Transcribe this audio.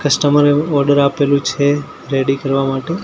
Customer એ order આપેલુ છે રેડી કરવા માટે.